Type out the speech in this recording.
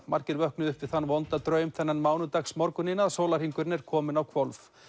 margir vöknuðu upp við þann vonda draum þennan mánudagsmorguninn að sólarhringurinn er kominn á hvolf